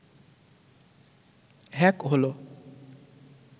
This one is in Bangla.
হ্যাক হল